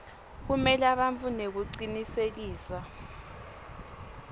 kumela bantfu nekucinisekisa